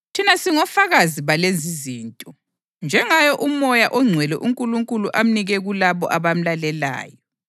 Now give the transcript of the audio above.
Thina singofakazi balezizinto, njengaye uMoya oNgcwele, uNkulunkulu amnike kulabo abamlalelayo.”